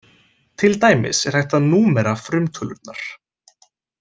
Til dæmis er hægt að númera frumtölurnar.